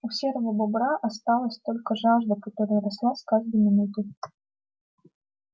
у серого бобра осталась только жажда которая росла с каждой минутой